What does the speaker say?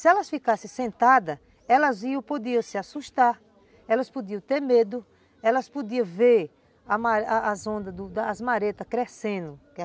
Se elas ficassem sentadas, elas podiam se assustar, elas podiam ter medo, elas podiam ver as ondas, as maretas crescendo.